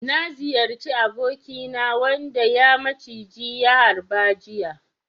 Na ziyarci abokina wanda ya maciji ya harba jiya.